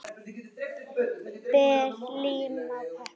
Ber lím á pappír.